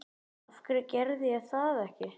Af hverju gerði ég það ekki?